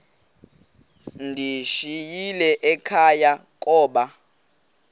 ndiyishiyile ekhaya koba